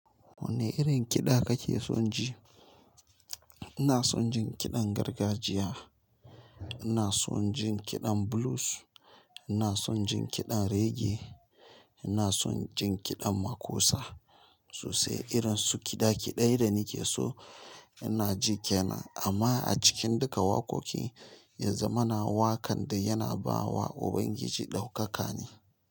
Wane irin kiɗa kake son ji? Ina son jin kiɗan gargajiya, ina son jin kiɗan blues, ina son jin kiɗan reggae, ina son jin kiɗan makosa. Sobsai irin su kiɗa kiɗe da nake so ina ji kenan. Amma a cikin duka waƙoƙi, yanzu muna waƙan da yana ba wa Ubangiji ɗaukaka ne.